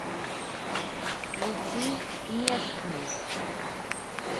включи местный